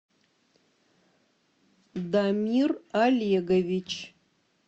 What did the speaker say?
дамир олегович